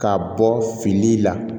Ka bɔ fini la